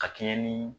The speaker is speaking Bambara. Ka kɛɲɛ ni